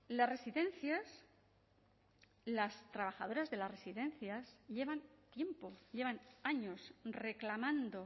las residencias las trabajadoras de las residencias llevan tiempo llevan años reclamando